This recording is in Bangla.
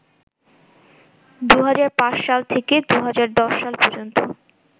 ২০০৫ সাল থেকে ২০১০ সাল পর্যন্ত